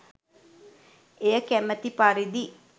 එය කැමති පරිදි